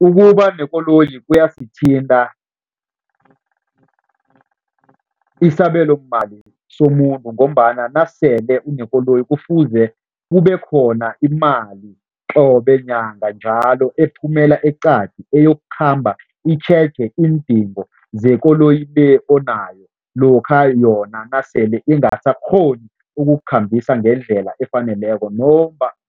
Ukuba nekoloyi kuyasithinta isabelomali somuntu ngombana nasele unekoloyi kufuze kubekhona imali qobe nyanga njalo ephumela eqadi, eyokukhamba itjheje iindingo zekoloyi le onayo, lokha yona nasele ingasakghoni ukukukhambisa ngendlela efaneleko